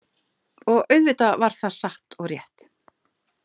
Og auðvitað var það satt og rétt.